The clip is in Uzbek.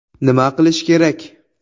Nima qilish kerak?.